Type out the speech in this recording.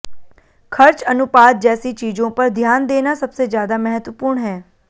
खर्च अनुपात जैसी चीजों पर ध्यान देना सबसे ज्यादा महत्वपूर्ण है